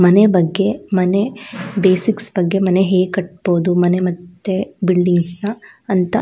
ಮನೆ ಬಗ್ಗೆ ಮನೆ ಬೇಸಿಕ್ಸ್ ಬಗ್ಗೆ ಮನೆ ಹೇಗ್ ಕಟ್ಟಬೋದು ಮನೆ ಮತ್ತು ಬಿಲ್ಡಿಂಗ್ಸ್ ನ ಅಂತ --